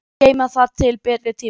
Geyma það til betri tíma.